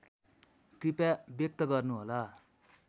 कृपया व्यक्त गर्नुहोला